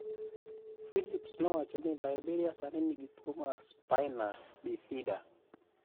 Philips nowacho ni Liberia sani nigi tuwo mar spina bifida.